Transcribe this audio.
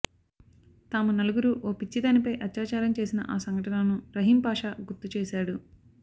తాము నలుగురూ ఓ పిచ్చిదానిపై అత్యాచారం చేసిన ఆ సంఘటనను రహీం పాషా గుర్తుచేశాడు